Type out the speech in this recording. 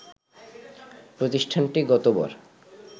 প্রতিষ্ঠানটি গতবার